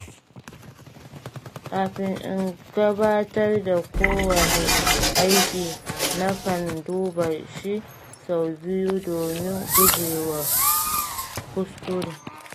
Kafin in gabatar da kowane aiki, nakan duba shi sau biyu domin gujewa kuskure.